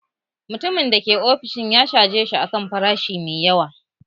Mutumin da ke ofishin canji ya caje shi a kan farashi mai yawa